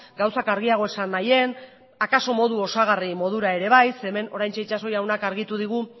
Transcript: gauzak argiago esan nahian akaso modu osagarri modura ere zeren hemen oraintxe itxaso jaunak argitu digu